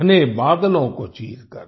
घने बादलों को चीरकर